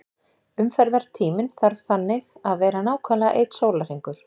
Umferðartíminn þarf þannig að vera nákvæmlega einn sólarhringur.